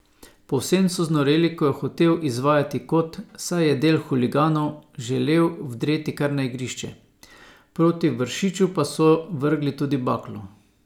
Povsem so znoreli, ko je hotel izvajati kot, saj je del huliganov želel vdreti kar na igrišče, proti Vršiču pa so vrgli tudi baklo.